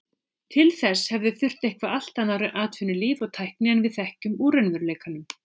Til þess hefði þurft eitthvert allt annað atvinnulíf og tækni en við þekkjum úr raunveruleikanum.